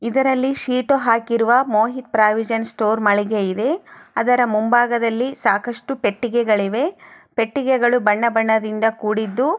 ಇದರಲ್ಲಿ ಶೀಟು ಹಾಕಿರುವ Mohit provision store ಮಳಿಗೆ ಇದೆ ಅದರ ಮುಂಭಾಗದಲ್ಲಿ ಸಾಕಷ್ಟು ಪೆಟ್ಟಿಗೆಗಳಿವೆ ಪೆಟ್ಟಿಗೆಗಳು ಬಣ್ಣ ಬಣ್ಣದಿಂದ ಕೂಡಿದ್ದು --